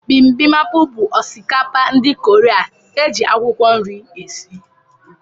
Bimbimapu bụ osikapa ndị kọreaa, eji akwụkwọ nri esị.